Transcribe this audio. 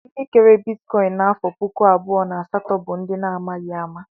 Ndị kere bitikọin n'afọ puku abụọ na asatọ bụ ndị a na-amaghi ama.